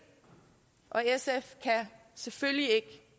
og sf kan selvfølgelig ikke